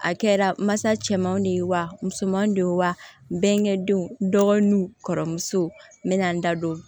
A kɛra masa cɛmanw de ye wa musomanin de ye wa denkɛ denw dɔgɔninw kɔrɔmuso nena n da don